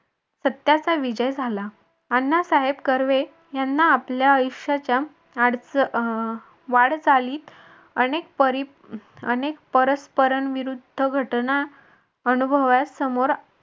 सत्याचा विजय झाला अण्णासाहेब कर्वे यांना आपल्या आयुष्याच्या अडचणी वाटचालीस अनेक परस्परांविरुद्ध घटना अनुभवयास समोर